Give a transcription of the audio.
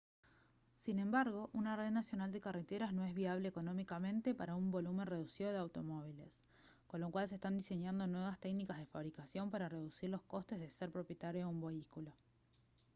sin embargo una red nacional de carreteras no es viable económicamente para un volumen reducido de automóviles con lo cual se están diseñando nuevas técnicas de fabricación para reducir los costes de ser propietario de un vehículo